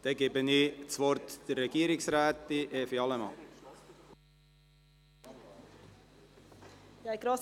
Ich erteile das Wort der Regierungsrätin Evi Allemann.